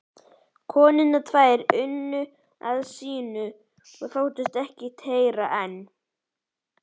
konurnar tvær unnu að sínu og þóttust ekkert heyra en